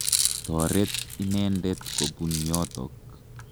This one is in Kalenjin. Toret inendet kopun yotok.